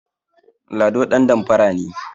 Lado ɗandamfara ne